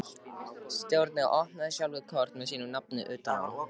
Stjáni opnaði sjálfur kort með sínu nafni utan á.